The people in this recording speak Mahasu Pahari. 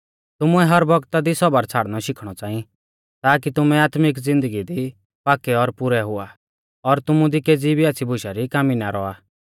तुमुऐ हर बौगता दी सौबर छ़ाड़नौ शिखणौ च़ांई ताकी तुमै आत्मिक ज़िन्दगी दी पाक्कै और पुरै हुआ और तुमु दी केज़ी भी आच़्छ़ी बुशा री कामी ना रौआ